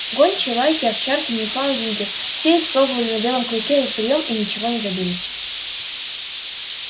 гончие лайки овчарки ньюфаундленды все испробовали на белом клыке этот приём и ничего не добились